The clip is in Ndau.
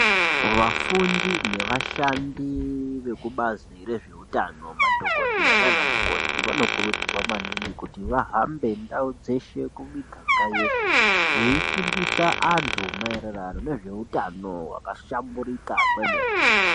Vafundi nevashandi vekubazi rezveutano madhokodheya nanamukoti vanokurudzirwa maningi kuti vahambe ndau dzeshe kumiganga yeshe veifundisa antu maererano nezveutano hwakahlamburika kwemene.